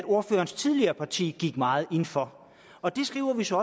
ordførerens tidligere parti gik meget ind for og der skriver vi så